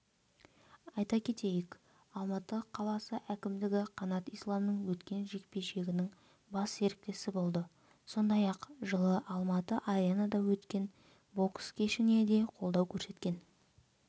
айта кетейік алматы қаласы кімдігі қанат исламның өткен жекпе-жегінің бас серіктесі болды сондай-ақ жылы алматы-аренада өткен бокс кешіне де қолдау көрсеткен